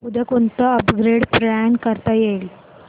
उद्या कोणतं upgrade plan करता येईल